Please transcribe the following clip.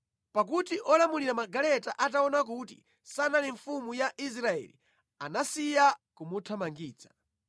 pakuti olamulira magaleta ataona kuti sanali mfumu ya Israeli, anasiya kumuthamangitsa.